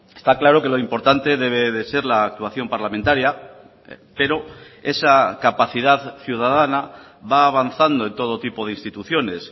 está claro que lo importante debe de ser la actuación parlamentaria pero esa capacidad ciudadana va avanzando en todo tipo de instituciones